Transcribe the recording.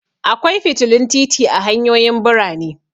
Akwai fitilun titi a hanyoyin birane.